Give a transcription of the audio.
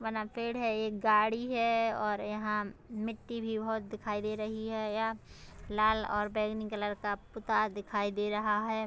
वना पेड़ है एक गाड़ी है और यहाँ मिट्टी भी बोहोत दिखाई दे रही है यह लाल और बैंगनी कलर का पुताया दिखाई दे रहा है ।